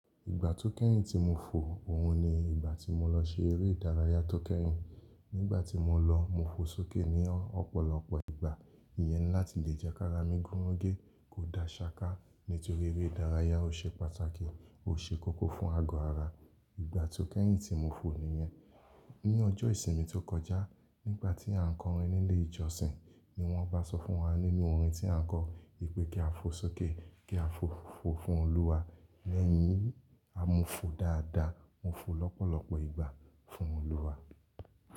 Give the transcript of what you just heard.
Ìgbà tó kẹ́yìn tí mo fò òun ni ìgbà tí mo lọ ṣe eré ìdárayá tó kẹ́yìn. Nígbà tí mo lọ, mo fo sókè ní ọ̀pọ̀lọpọ̀ ìgbà. Iyẹn láti lè jẹ́ ká ra mí gún rége, kó da ṣaka nítorí eré ìdárayá ò ṣe pàtàkì, ò ṣe kókó fún ago ara. Ìgbà tó kẹ́yìn tí mo fò nìyẹn. Ni ọjọ́ ìsinmi tó kọjá nígbà tí à ń kọrin nílé ìjọsìn ni wọ́n bá sọ fún wa nínú orin tí à ń kọ pé kí a fo sókè, kí a fo fò fún Olúwa. Lẹ́yìn yín, a mo fò dáadáa, mo fò lọ́pọ̀lọpọ̀ ìgbà fún Olúwa.